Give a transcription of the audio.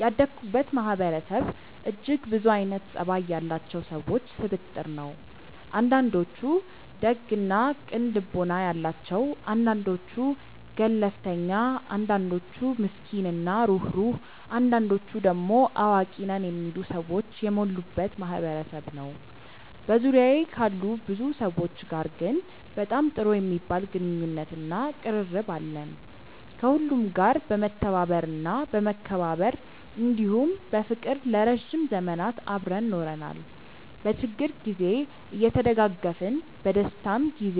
ያደኩበት ማህበረሰብ እጅግ ብዙ አይነት ፀባይ ያላቸው ሰዎች ስብጥር ነው። አንዳንዶቹ ደግ እና ቅን ልቦና ያላቸው አንዳንዶቹ ገለፍተኛ አንዳንዶቹ ምስኪን እና ሩህሩህ አንዳንዶቹ ደሞ አዋቂ ነን የሚሉ ሰዎች የሞሉበት ማህበረሰብ ነበር። በዙሪያዬ ካሉ ብዙ ሰዎች ጋር ግን በጣም ጥሩ የሚባል ግንኙነት እና ቅርርብ አለን። ከሁሉም ጋር በመተባበር እና በመከባበር እንዲሁም በፍቅር ለረዥም ዘመናት አብረን ኖረናል። በችግር ግዜ እየተደጋገፍን በደስታም ግዜ